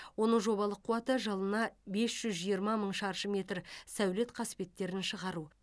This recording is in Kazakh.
оның жобалық қуаты жылына бес жүз жиырма мың шаршы метр сәулет қасбеттерін шығару